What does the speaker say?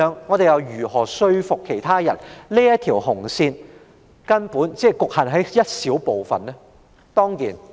我們又如何說服其他人，這條紅線只在小部分情況下適用？